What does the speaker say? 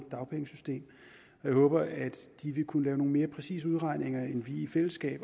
dagpengesystem jeg håber at de vil kunne lave nogle mere præcise udregninger end vi i fællesskab